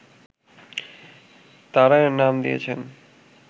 তারা এর নাম দিয়েছেন